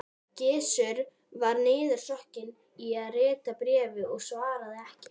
Gizur var niðursokkinn í að rita bréfið og svaraði ekki.